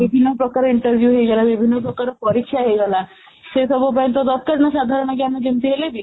ବିଭିନ୍ନ ଡାକରା interview ହେଇଗଲା ବିଭିନ୍ନ ପ୍ରକାର ପରୀକ୍ଷା ହେଇଗଲା ସେସବୁ ପାଇଁ ତ ଦରକାର ସାଧାରଣ ଜ୍ଞାନ ଯେମିତି ହେଲେବି